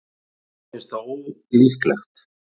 Mér finnst það ólíklegt.